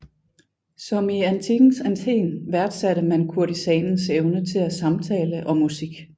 Som i antikkens Athen værdsatte man kurtisanens evne til samtale og musik